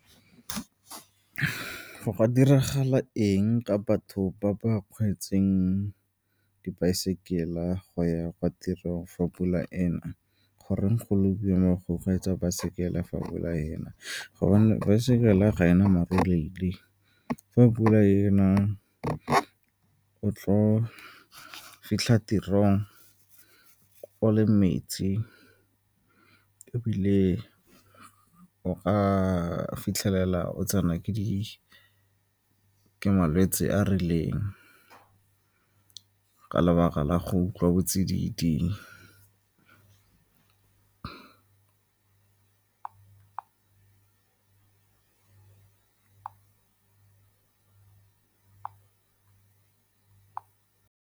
Go ka diragala eng ka batho ba ba dibaesekele go ya kwa tirong fa pula e na, goreng go le boima go kgweetsa baesekele fa pula e na? Gobane baesekele ga e na , fa pula e na, o tlo fitlha tirong o le metsi ebile o ka fitlhelela o tsena ke malwetse a a rileng ka lebaka la go utlwa botsididi.